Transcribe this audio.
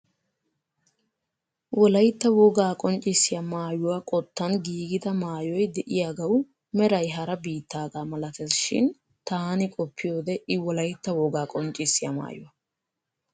Wolaytta wogaa qonccissiyaa maayyuwaa qottan giigida maayoy de'iyaagawu meray hara biittaagaa malatees shin taani qopiyoode i wolaytta wogaa qonccissiya maayuwaa.